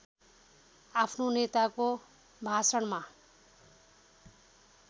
आफ्ना नेताको भाषणमा